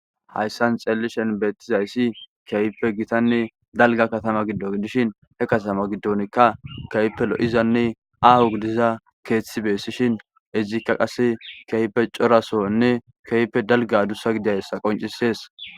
hayssan xeellishen beettizayssi keype gitanne dalga katama giddon dishin he katama giddonkka kehipe lo'izanne aaho gidiza keeththi beessishin izikka qase keype corasonne keype dalga adussa gidayssa qoncisees